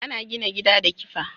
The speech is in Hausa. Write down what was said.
Ana gina gida da kifa